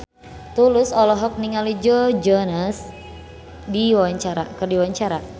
Tulus olohok ningali Joe Jonas keur diwawancara